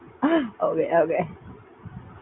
Okay okay